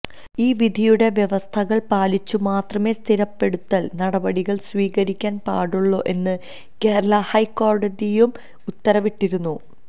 ഈ വിധിയുടെ വ്യവസ്ഥകൾ പാലിച്ചുമാത്രമേ സ്ഥിരപ്പെടുത്തൽ നടപടികൾ സ്വീകരിക്കാൻ പാടുള്ളൂ എന്ന് കേരള ഹൈക്കോടതിയും ഉത്തരവിട്ടിരുന്നു